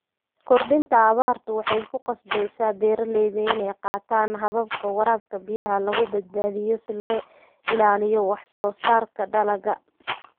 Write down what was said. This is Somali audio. Kordhinta abaartu waxay ku qasabtaa beeralayda inay qaataan hababka waraabka biyaha lagu badbaadinayo si loo ilaaliyo wax-soo-saarka dalagga.